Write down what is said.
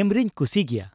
ᱮᱢᱨᱮᱧ ᱠᱩᱥᱤ ᱜᱮᱭᱟ ᱾